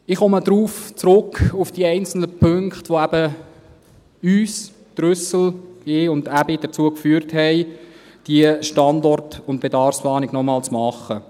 Ich komme auf die einzelnen Punkte zurück, die uns – Grossrat Trüssel, mich und Grossrat Aebi – dazu gebracht haben, diese Standort- und Bedarfsplanung noch einmal zu machen.